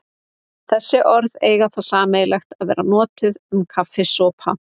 Þessi orð eiga það sameiginlegt að vera notuð um kaffisopa.